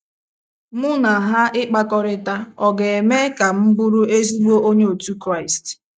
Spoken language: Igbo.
Mụ na ha ịkpakọrịta ọ̀ ga - eme ka m bụrụ ezigbo Onye otu Kraịst? ’